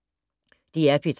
DR P3